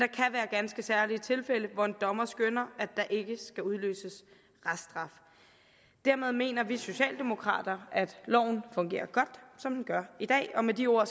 være ganske særlige tilfælde hvor en dommer skønner at der ikke skal udløses reststraf dermed mener vi socialdemokrater at loven fungerer godt som den gør i dag og med de ord